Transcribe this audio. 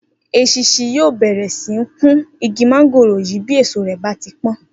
Esinsin yóò bèrè sí ní kun igi móngòrò yìí bí èso rè bá ti pón